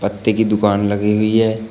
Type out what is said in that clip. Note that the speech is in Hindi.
पत्ते की दुकान लगी हुई है।